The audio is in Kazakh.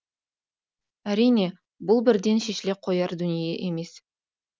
әрине бұл бірден шешіле қояр дүние емес